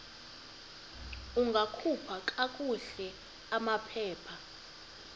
ungakhupha kakuhle amaphepha